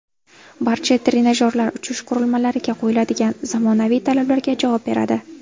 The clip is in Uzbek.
Barcha trenajyorlar uchish qurilmalariga qo‘yiladigan zamonaviy talablarga javob beradi.